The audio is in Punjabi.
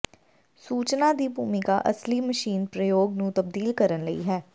ਸੂਚਨਾ ਦੀ ਭੂਮਿਕਾ ਅਸਲੀ ਮਸ਼ੀਨ ਪ੍ਰਯੋਗ ਨੂੰ ਤਬਦੀਲ ਕਰਨ ਲਈ ਹੈ